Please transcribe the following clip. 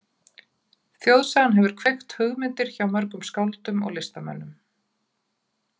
Þjóðsagan hefur kveikt hugmyndir hjá mörgum skáldum og listamönnum.